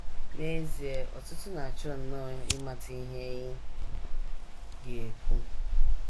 N’ezie, ọtụtụ na - achọ nnọọ ịmata ihe ị ga - ekwu.